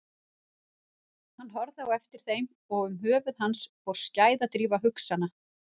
Hann horfði á eftir þeim og um höfuð hans fór skæðadrífa hugsana.